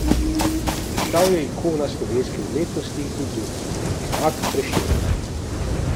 Postal je ikona slovenske umetnosti in kulture, enak Prešernu.